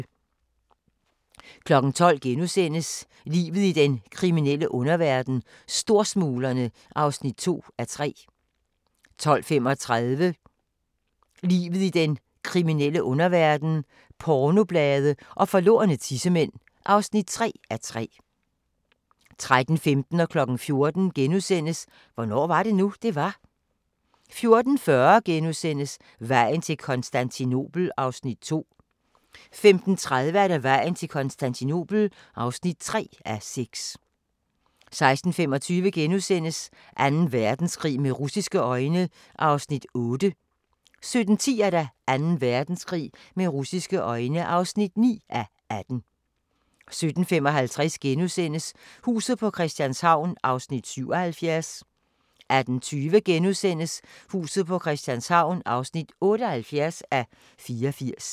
12:00: Livet i den kriminelle underverden - Storsmuglerne (2:3)* 12:35: Livet i den kriminelle underverden - pornoblade og forlorne tissemænd (3:3) 13:15: Hvornår var det nu, det var? * 14:00: Hvornår var det nu, det var? 14:40: Vejen til Konstantinopel (2:6)* 15:30: Vejen til Konstantinopel (3:6) 16:25: Anden Verdenskrig med russiske øjne (8:18)* 17:10: Anden Verdenskrig med russiske øjne (9:18) 17:55: Huset på Christianshavn (77:84)* 18:20: Huset på Christianshavn (78:84)*